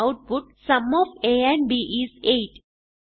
output sum of a and b is 8